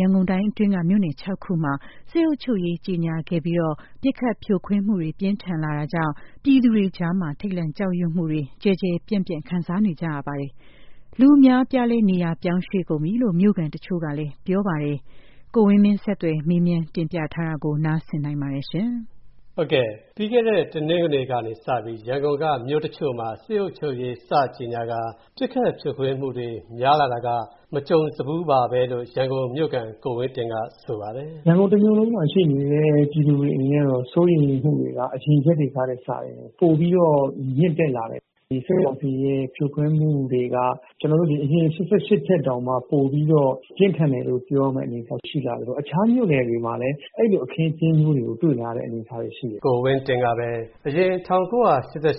ရန်ကုန်တိုင်းအတွင်းက မြို့နယ် ၆ ခုမှာ စစ်အုပ်ချုပ်ရေး ကြေညာခဲ့ပြီး ပစ်ခတ်ဖြိုခွင်းမူတွေပြင်းထန်လာတာကြောင့်၊ ထိတ်လန့်ကြောက်ရွံမူတွေ ကျယ်ကျယ်ပြန့်ပြန့် ခံစားနေကြရပါတယ်။ အများအပြားလည်း နေရာပြောင်းရွေ.ကုန်ကြပြီလို့ မြို.ခံတချို.ကဆိုပါတယ်။ ကိုဝင်းမင်းက ဆက်သွယ်မေးမြန်း တင်ပြထားပါတယ်။ ပြီးခဲ့တဲ့ တနင်္ဂနွေကနေစပြီး ရန်ကုန်က မြို့တချို့မှာ စစ်အုပ်ချုပ်ရေး စကြေညာကာ ပစ်ခတ်ဖြိုခွဲမှုတွေ များလာတာက မကြုံစဖူးပါပဲလို့ ရန်ကုန်မြို့ခံ ကိုဝင်းတင်က ဆိုပါတယ်။ “ရန်ကုန် တမြို့လုံးမှာ ရှိနေတဲ့ ပြည်သူတွေရဲ့ စိုးရိမ်နေမှုတွေက အရင်ရက်တွေထက်စာရင် ပိုပြီးတော့ မြင့်တက်လာတယ်။ ဒီစစ်ကောင်စီရဲ့ ဖြိုခွင်းမှုတွေက အရင် ကျနော်တို့ ၈၈ ထက်တောင်မှ ပိုပြီးတော့ ပြင်းထန်တယ်လို့ ပြောရမယ့် အနေအထားရှိလာတယ်ဆိုတော့ အခြားမြို့နယ်တွေမှာလည်း အဲဒီလို အခင်းအကျင်းမျိုးတွေကို တွေ့လာတဲ့ အနေအထားတွေရှိတယ်။” ကိုဝင်းတင်ကပဲ အရင် ၁၉၈၈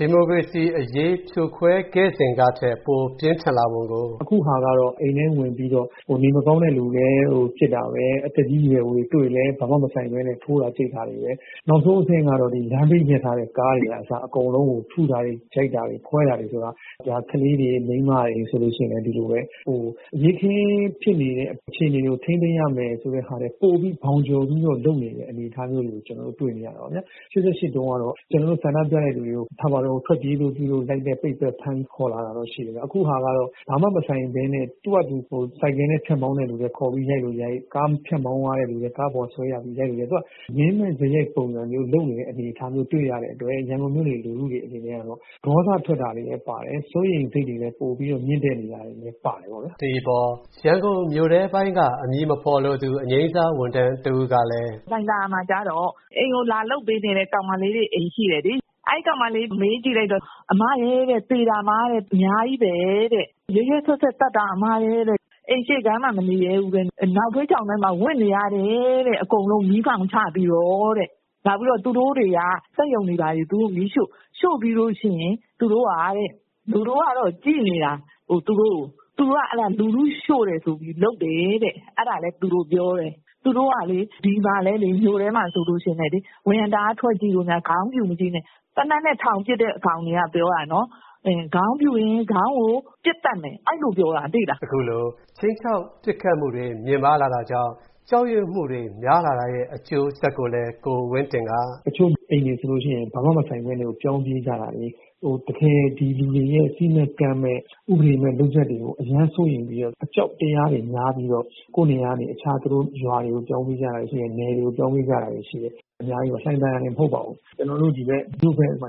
ဒီမိုကရေစီအရေး ဖြိုခွဲခဲ့စဉ်ကထက် ပိုပြင်းထန်လာပုံကို “အခုဟာက အိမ်ထဲကို ဝင်ပြီးတော့ နေမကောင်းတဲ့လူလည်း ပစ်တာပဲ။ သက်ကြီးရွယ်အိုတွေ တွေ့ရင်လည်း ဘာမှ မဆိုင်ပဲနဲ့ ထိုးတာ ကျိတ်တာပဲ ။ နောက်ဆုံး လမ်းဘေးမှာ ရပ်ထားတဲ့ ကားတွေကအစ ထုတာတွေ ခွဲတာတွေဆိုတော့ ကလေးတွေ မိန်းမတွေဆိုရင်လည်း ဒီလိုပဲ အရေးအခင်းဖြစ်နေတဲ့ အခြေအနေတွေကို ထိန်းသိမ်းရမယ်ဆိုတာထက် ဘောင်ကျော်ပြီးတော့ လုပ်နေတဲ့ အနေအထားမျိုးတွေကို ကျနော်တို့ တွေ့နေရတာပေါ့နော်။ ၈၈ တုန်းကတော့ ကျနော်တို့ ဆန္ဒပြတဲ့လူတွေဆီကို ထွက်ပြေးလို့ လိုက်ရိုက် ပစ်သတ်၊ ဖမ်းပြီးခေါ်လာတာတော့ ရှိတယ်။ အခုဟာကတော့ ဘာမှ မဆိုင်တဲ့ သူ့ဟာသူ ဆိုင်ကယ်နဲ့ ဖြတ်မောင်းတဲ့သူကိုလည်း ခေါ်ပြီး ရိုက်လိုရိုက်၊ ကားနဲ့ ဖြတ်မောင်းသွားတဲ့လူတွေကို ကားပေါ်က ဆွဲပြီး ရိုက်လိုရိုက် အခုက မင်းမဲ့စရိုက်မျိုး လုပ်နေတဲ့ ပုံစံမျိုး တွေ့ရတဲ့အတွက် ရန်ကုန်မြို့နေ လူတွေအနေနဲ့တော့ ဒေါသထွက်တာလည်း ပါတယ်၊ စိုးရိမ်စိတ်တွေ ပိုပြီးတော့ မြင့်တက်နေတာ တွေလည်း ပါတယ်ပေါ့ဗျာ။” ဒီအပေါ် ရန်ကုန် မြို့ထဲပိုင်းက အမည်မဖော်လိုသူ အငြိမ်းစားဝန်ထမ်း တဦးကလည်း “လှိုင်သာယာမှာ ကျတော့ အိမ်မှာ လာလုပ်ပေးနေတဲ့ ကောင်မလေးတွေ အိမ်ရှိတယ်လေ။ အဲဒီကောင်မလေးကို မေးကြည့်လိုက်တော့ အမရယ် သေတာမှ အများကြီးပဲတဲ့၊ ရက်ရက်စက်စက် သတ်တာ အမရယ်တဲ့ အိမ်ရှေ့ခန်းမှာ မနေရဲဘူး နောက်ဖေးချောင်ထဲမှာ ဝပ်နေရတယ်တဲ့ အကုန်လုံး မီးအမှောင်ချပြီးတော့တဲ့ ။ နောက်ပြီးတော့ သူတို့တွေက စက်ရုံတွေ ဘာတွေကို မီးရှို့ ၊ ရှို့ပြီးလို့ရှိရင် လူတွေကတော့ ကြည့်နေတာ သူတို့ကို ၊ အဲဒါ သူတို့က လူတွေက ရှို့တယ်ဆိုပြီးတော့ လုပ်တယ်တဲ့ အဲဒါလည်း သူတို့ ပြောတယ်။ သူတို့ကလေ ဒီမှာလည်း မြို့ထဲမှာ ဆိုရင်လည်း ဝရံတာက ထွက်ကြည့်ရင် ခေါင်းပြူထွက်ရင် သေနတ်နဲ့ ထောင်ပစ်တဲ့ အကောင်တွေက ပြောတာနော်၊ခေါင်းပြူရင် ခေါင်းကို ပစ်သတ်မယ် အဲဒီလို ပြောတာ သိလား။” အခုလို ခြိမ်းခြောက် ပစ်ခတ်မှုတွေ မြင့်မားလာတာကြောင့် ကြောက်ရွံ့မှုတွေ များလာတဲ့ အကျိုးဆက်ကိုလည်း ကိုဝင်းတင်က “တချို့ အိမ်တွေဆိုရင် ဘာမှ မဆိုင်ပဲနဲ့ကို ပြောင်းပြေးတာတွေ ၊ ဒီလူတွေရဲ့ စည်းမဲ့ ကမ်းမဲ့ ဥပဒေရဲ့ လုပ်ရပ်တွေကို အရမ်းစိုးရိမ်ပြီးတော့ အကြောက်တရားတွေ များပြီးတော့ ကိုယ့်နေရာကနေ အခြားရွာတွေကို ပြောင်းပြေးကြတာတွေ ၊ နယ်တွေကို ပြောင်းပြေးကြတာတွေ ရှိတယ်။ အများကြီးပေါ့ လှိုင်သာယာတင်မဟုတ်ပါဘူး။ ကျနော် တို့ဒီဘက်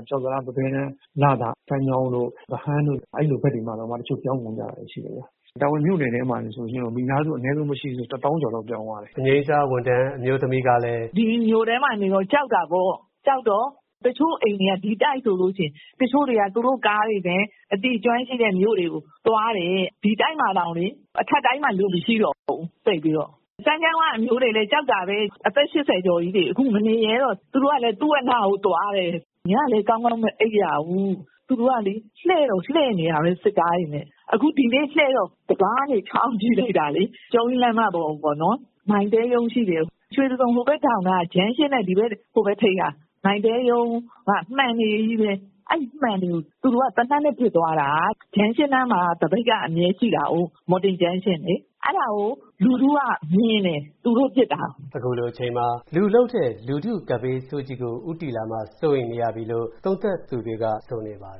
ကျောက်တံတား၊ ပဘဲတန်း ၊ လသာ ၊ ဗဟန်းတို့ အဲဒီလို ဘက်တွေမှာတောင်မှ တချို့ ပြောင်းကုန်တာရှိတယ်။ တာမွေမြို့နယ်မှာဆိုရင် မိသားစု အနည်းဆုံးမရှိဘူးဆိုရင် ၁ သောင်းကျော်လောက် ပြောင်းသွားတယ်။” အငြိမ်းစားဝန်ထမ်းအမျိုးသမီးကလည်း “ဒီမြို့ထဲမှာနေတော့ ကြောက်တာပေါ့၊ ကြောက်တော့ တချို့အိမ်တွေက ဒီတိုက်ဆိုရင် တချို့တွေက သူတို့ကားတွေနဲ့ သူတို့နဲ့ အသိကျွမ်းတဲ့ တချို့မြို့တွေကိုသွားတယ်။ ဒီတိုက်မှာဆိုရင် လူမရှိတော့ဘူး သိပ်ပြီးတော့။ စမ်းချောင်းက အမျိုးတွေလည်းကြောက်တာပဲ အသက် ၈၀ ကျော်ကြီးတွေ အခု မနေရဲတော့ဘူး ။ သူတို့ကလည်း သုဝဏ္ဏကို သွားတယ် ။ ညလည်း ကောင်းကောင်းမအိပ်ရဘူး။ သူတို့ကလေ လှည့်တော့ လှည့်နေတာပဲ စစ်ကားတွေနဲ့ အခု ဒီနေ့ လှည့်တော့ တံခါးကနေ ချောင်းကြည့်လိုက်တာလေ လမ်းမပေါ်ကိုပေါ့နော် ရွှေတံဂုံ ဟိုဘက်ဒေါင့်နားက Junction ရှိတဲ့ Mytel ရုံးက မှန်တွေကို သူတို့က သေနတ်နဲ့ ပစ်သွားတာ Junction နားမှာက သပိတ်က အမြဲတမ်းရှိတာကို ။ အဲဒါကို လူထုက မြင်တယ် သူတို့ ပစ်တာကို။” အခုလို အချိန်မှာ လူလုပ်တဲ့ လူထုကပ်ဘေးဆိုးကြီးကို ဦးတည်လာမှာ စိုးရိမ် နေရပြီလို့ သုံးသပ်သူတွေက ဆိုနေပါတယ်